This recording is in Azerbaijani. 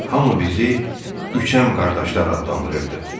Hamı bizi üçəm qardaşlar adlandırırdı.